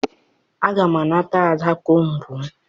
Aga m anata Ada kombu m